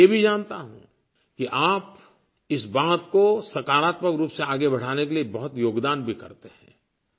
मैं ये भी जानता हूँ कि आप इस बात को सकारात्मक रूप से आगे बढ़ाने के लिए बहुत योगदान भी करते हैं